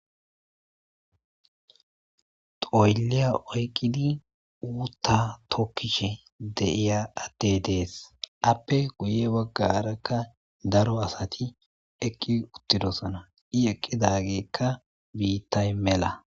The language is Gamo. Xoolliya oykkidi ootha tokkishe de'iya addey de'ees; izaappe guyye baggarakka daro asati eqqi uttidosona; i eqqidaageyka bittay mela.